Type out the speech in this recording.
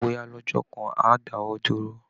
Bóyá lọ́jọ́ kan á dáwọ́ dúró